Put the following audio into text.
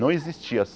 Não existia.